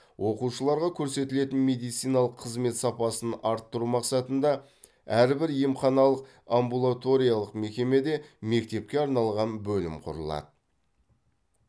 оқушыларға көрсетілетін медициналық қызмет сапасын арттыру мақсатында әрбір емханалық амбулаториялық мекемеде мектепке арналған бөлім құрылады